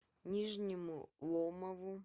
нижнему ломову